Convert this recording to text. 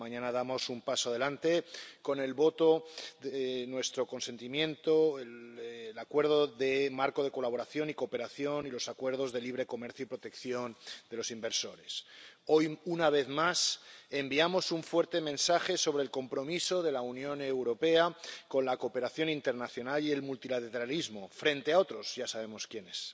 Mañana damos un paso adelante con el voto de nuestro consentimiento al Acuerdo Marco de Colaboración y Cooperación y a los Acuerdos de Libre Comercio y de Protección de las Inversiones. Hoy, una vez más, enviamos un fuerte mensaje sobre el compromiso de la Unión Europea con la cooperación internacional y el multilateralismo, frente a otros —ya sabemos quiénes—.